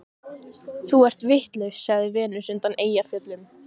Þú ert vitlaus, sagði Venus undan Eyjafjöllum.